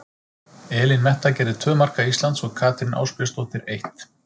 Elín Metta gerði tvö marka Íslands og Katrín Ásbjörnsdóttir eitt.